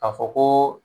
K'a fɔ ko